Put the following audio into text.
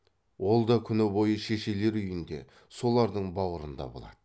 ол да күні бойы шешелер үйінде солардың баурында болады